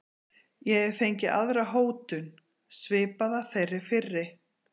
Ég hef fengið aðra hótun, svipaða þeirri fyrri.